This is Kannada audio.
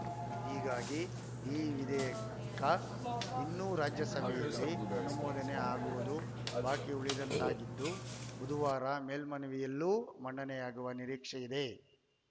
ಹೀಗಾಗಿ ಈ ವಿಧೇಯಕ ಇನ್ನು ರಾಜ್ಯಸಭೆಯಲ್ಲಿ ಅನುಮೋದನೆ ಆಗುವುದು ಬಾಕಿ ಉಳಿದಂತಾಗಿದ್ದು ಬುಧವಾರ ಮೇಲ್ಮನೆಯಲ್ಲೂ ಮಂಡನೆಯಾಗುವ ನಿರೀಕ್ಷೆಯಿದೆ